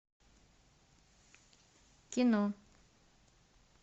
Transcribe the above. кино